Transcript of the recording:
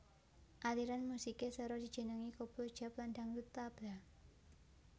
Aliran musikè Sèra dijenengi Koplo Jap lan dangdut tabla